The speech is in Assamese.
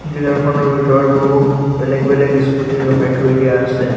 ডিলাৰ খনৰ ভিতৰত বহু বেলেগ বেলেগ স্কুটী ৰখাই থৈ দিয়া আছে।